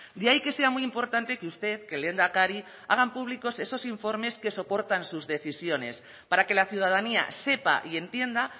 de ahí que sea muy importante que usted que el lehendakari hagan públicos esos informes que soportan sus decisiones para que la ciudadanía sepa y entienda